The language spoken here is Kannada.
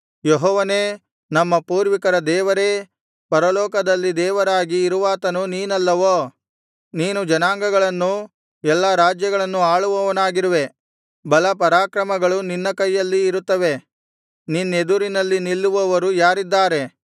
ಯೆಹೋವನೇ ನಮ್ಮ ಪೂರ್ವಿಕರ ದೇವರೇ ಪರಲೋಕದಲ್ಲಿ ದೇವರಾಗಿ ಇರುವಾತನು ನೀನಲ್ಲವೋ ನೀನು ಜನಾಂಗಗಳನ್ನೂ ಎಲ್ಲಾ ರಾಜ್ಯಗಳನ್ನು ಆಳುವವನಾಗಿರುವೆ ಬಲ ಪರಾಕ್ರಮಗಳು ನಿನ್ನ ಕೈಗಳಲ್ಲಿ ಇರುತ್ತವೆ ನಿನ್ನೆದುರಿನಲ್ಲಿ ನಿಲ್ಲುವವರು ಯಾರಿದ್ದಾರೆ